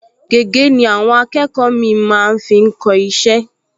Gègé ni àwọn akẹ́kọ̀ọ mì-ín máa ń fi kọ iṣẹ́